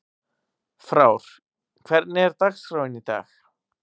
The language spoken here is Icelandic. Frár, hvernig er dagskráin í dag?